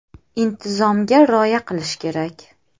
Intizomga rioya qilish kerak.